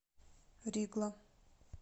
ригла